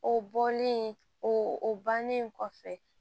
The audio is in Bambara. O bɔlen o o bannen kɔfɛ